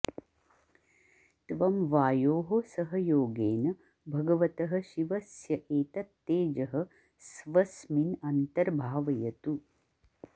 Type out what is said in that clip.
त्वं वायोः सहयोगेन भगवतः शिवस्य एतत् तेजः स्वस्मिन् अन्तर्भावयतु